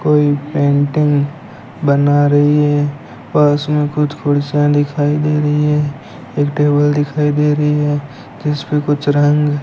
कोई पेंटिंग बना रही है पास में कुछ कुर्सियां दिखाई दे रही है एक टेबल दिखाई दे रही है जिसपे कुछ रंग --